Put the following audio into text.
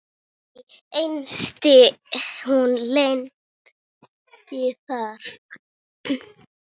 Ekki entist hún lengi þar.